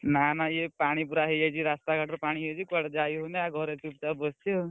ନା ନା ଇଏ ପାଣି ପୁରା ହେଇଯାଇଛି ରାସ୍ତା ଘାଟ ପୁରା ପାଣି ହେଇଯାଇଛି କୁଆଡେ ଯାଇହଉନି ଆଉ ଘରେ ଚୁପଚାପ ବସଛି ଆଉ।